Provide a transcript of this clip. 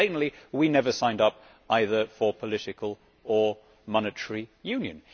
Plainly we never signed up either for political or monetary union.